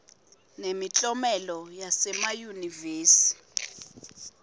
nemiklomelo yasema yunivesi